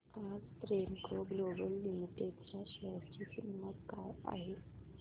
आज Premco global limited च्या share ची किंमत काय आहे